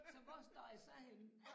Så hvor står jeg så henne